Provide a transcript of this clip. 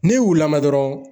N'e y'u lamɛn dɔrɔnw